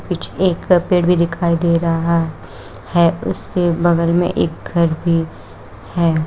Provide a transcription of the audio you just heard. एक पेड़ भी दिखाई दे रहा है उसके बगल में एक घर भी है।